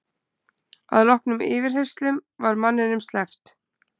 Að loknum yfirheyrslum var manninum sleppt